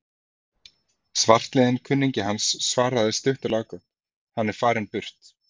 Svartliðinn kunningi hans svaraði stutt og laggott: Hann er farinn burt